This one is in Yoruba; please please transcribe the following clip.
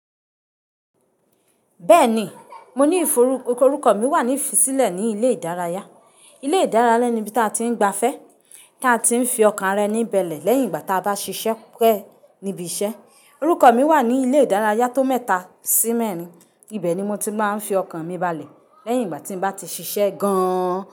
Bẹ́ẹ̀ni, Orúkọ mi wà ní ifi sílẹ̀ ní ilé ìdárayá. Ilé ìdárayá ni ibi tí a ti ń gba fẹ́, ta a ti ń fi ọkàn rẹ ní bale lẹ́yìn ìgbà tí a bá ṣiṣẹ́ pẹ́, níbi iṣẹ́. Orúkọ mi wà ní ilé ìdárayá tó mẹ́ta sí mẹ́rin. Ibẹ̀ ni mo ti máa ń fi ọkàn mi balẹ̀ lẹ́yìn ìgbà tí mo bá ti ṣiṣẹ́ gan-an.